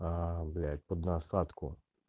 блять под насадку